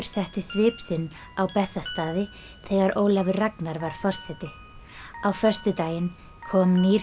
setti svip sinn á Bessastaði þegar Ólafur Ragnar var forseti á föstudaginn kom nýr